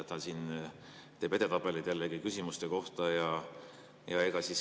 Ta siin teeb jällegi küsimuste edetabeleid.